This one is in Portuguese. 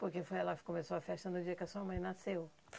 Porque foi lá que começou a festa no dia que a sua mãe nasceu.